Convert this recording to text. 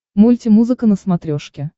мультимузыка на смотрешке